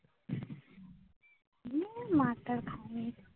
তবে মার-টার খাইনি।